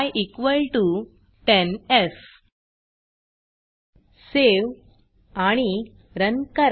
y10f save आणि run करा